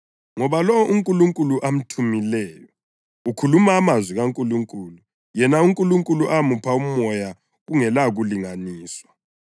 Ngoba lowo uNkulunkulu amthumileyo ukhuluma amazwi kaNkulunkulu; yena uNkulunkulu umupha umoya kungelakulinganiswa.